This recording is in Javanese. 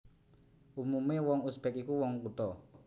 Umumé wong Uzbek iku wong kutha